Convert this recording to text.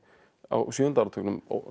á sjöunda áratugnum